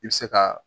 I bɛ se ka